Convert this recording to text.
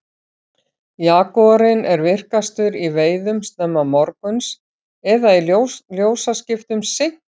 jagúarinn er virkastur í veiðum snemma morguns eða í ljósaskiptum seint að kvöldi